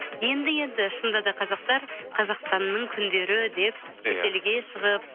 енді енді шынында да қазақтар қазақстанның күндері деп иә шетелге шығып